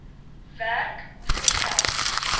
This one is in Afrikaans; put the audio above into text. werk hoeveel geld